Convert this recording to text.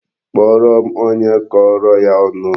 Kpọọrọ m onye kọrọ ya ọnụ!